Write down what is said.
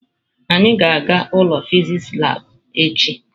Anyị ga-aga ụlọ fịsịsị labụ echi.